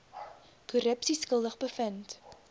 korrupsie skuldig bevind